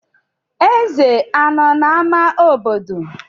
Ezè anọ n'ámá obodo?